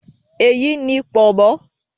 Èyí ni “pọ̀nmọ́"